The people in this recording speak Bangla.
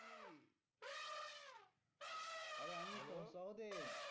আরে আমি hello সহদেব